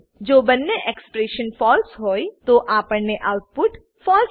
જો બંને expression false હોય તો આપણને આઉટપુટ ફળસે